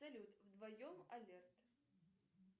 салют вдвоем алерт